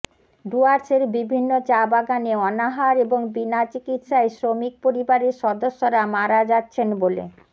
ডুয়ার্সের বিভিন্ন চা বাগানে অনাহার এবং বিনা চিকিৎসায় শ্রমিক পরিবারের সদস্যরা মারা যাচ্ছেন বলে